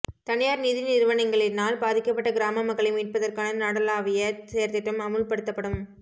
தனியார் நிதி நிறுவனங்களினால் பாதிக்கப்பட்ட கிராம மக்களை மீட்பதற்கான நாடளாவிய செயற்திட்டம் அமுல்படுத்தப்படும்